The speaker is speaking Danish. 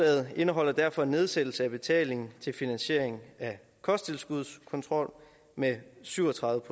indeholder derfor en nedsættelse af betalingen til finansiering af kosttilskudskontrol med syv og tredive